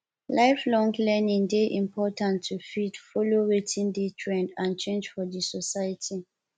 lifelong learning de important to fit follow wetin de trend and change for di society